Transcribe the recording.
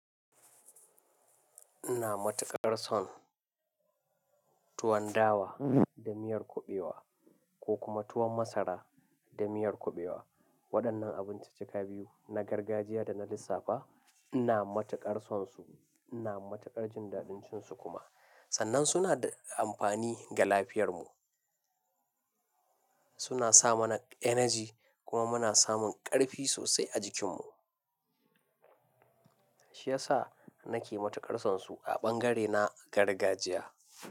Ina matuƙar son tuwon dawa da miyar kuɓewa ko kuma tuwon masara da miyar kuɓewa. Waɗannan abinci cika biyu, na gargajiya da na lissafa ina matuƙar sonsu, ina matuƙar jin daɗin cin su kuma. Sannan suna da amfani ga lafiyar mu. Suna sa mana energy kuma muna samun ƙarfi sosai a jikin mu. Shi yasa nake matuƙar sonsu a bangare na gargajiya.